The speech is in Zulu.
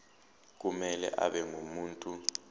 kumele abe ngumuntu